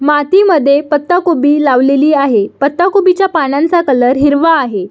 माती मध्ये पत्तागोबी उभी लावलेली आहे पत्तागोबीच्या पानांचा कलर हिरवा आहे.